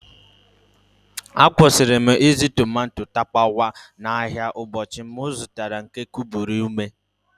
Akwụsịrị m ịzụ tomato tapawa n'ahịa ụbọchị m zụtara nke kubie ume.